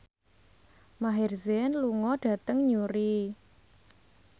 Maher Zein lunga dhateng Newry